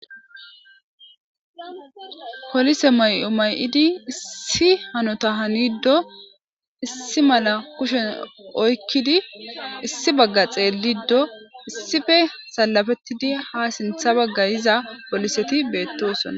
Polise mayo mayi'id issi hanota hanido issi mala kushe oykid issi Baga xelido issipe salapetid ha sintha Baga yiza poliset betosona.